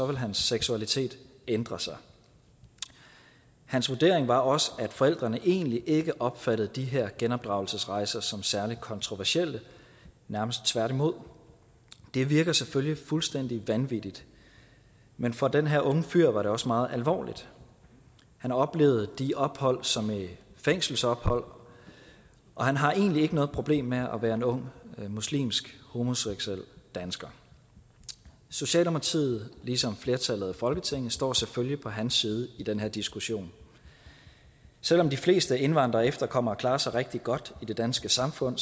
vil hans seksualitet ændre sig hans vurdering var også at forældrene egentlig ikke opfattede de her genopdragelsesrejser som særlig kontroversielle nærmest tværtimod det virker selvfølgelig fuldstændig vanvittigt men for den her unge fyr var det også meget alvorligt han oplevede de ophold som fængselsophold og han har egentlig ikke noget problem med at være en ung muslimsk homoseksuel dansker socialdemokratiet ligesom flertallet i folketinget står selvfølgelig på hans side i den her diskussion selv om de fleste indvandrere og efterkommere klarer sig rigtig godt i det danske samfund